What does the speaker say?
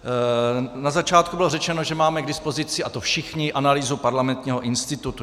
Na začátku bylo řečeno, že máme k dispozici, a to všichni, analýzu Parlamentního institutu.